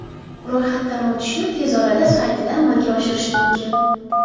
Ro‘yxatdan o‘tishni tez orada saytida amalga oshirish mumkin.